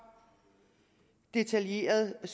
detaljeret og